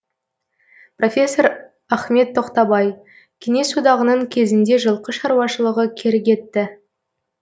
профессор ахмет тоқтабай кеңес одағының кезінде жылқы шаруашылығы кері кетті